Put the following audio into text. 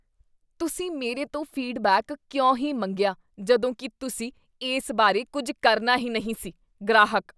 ਤੁਸੀਂ ਮੇਰੇ ਤੋਂ ਫੀਡਬੈਕ ਕਿਉਂ ਹੀ ਮੰਗਿਆ ਜਦੋਂ ਕੀ ਤੁਸੀਂ ਇਸ ਬਾਰੇ ਕੁੱਝ ਕਰਨਾ ਹੀ ਨਹੀਂ ਸੀ? ਗ੍ਰਾਹਕ